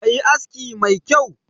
Ka yi aski mai kyau!